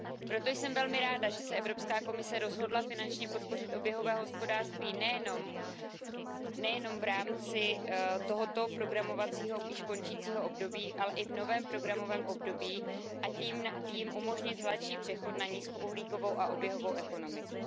Proto jsem velmi ráda, že se Evropská komise rozhodla finančně podpořit oběhové hospodářství nejen v rámci tohoto programového, již končícího období, ale i v novém programovém období, a tím jim umožnit hladší přechod na nízkouhlíkovou a oběhovou ekonomiku.